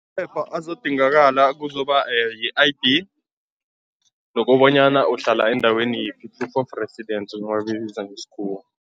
Phepha azodingakala kuzoba yi-I_D nokobanyana uhlala endaweni yiphi, i-proof of residence nabayibiza ngesikhuwa.